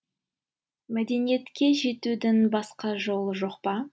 мәдениетке жетудің басқа жолы жоқ па